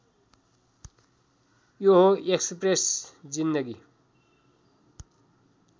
यो हो एक्सप्रेस जिन्दगी